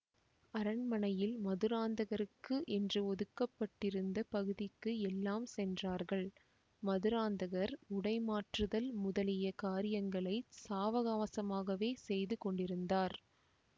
அரண்மனையில் மதுராந்தகருக்கு என்று ஒதுக்கப்பட்டிருந்த பகுதிக்கு எல்லாம் சென்றார்கள் மதுராந்தகர் உடை மாற்றுதல் முதலிய காரியங்களை சாவகாசமாகவே செய்து கொண்டிருந்தார்